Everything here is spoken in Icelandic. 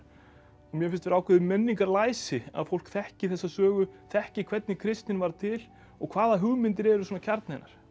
mér finnst vera ákveðið menningarlæsi að fólk þekki þessa sögu þekki hvernig kristnin varð til og hvaða hugmyndir eru svona kjarni hennar